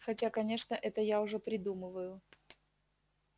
хотя конечно это я уже придумываю